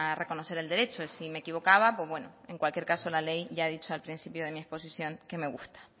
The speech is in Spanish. reconocer el derecho si me equivocaba pues bueno en cualquier caso la ley ya he dicho al principio de mi exposición que me gusta